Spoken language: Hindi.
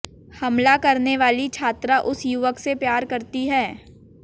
हमला करने वाली छात्रा उस युवक से प्यार करती है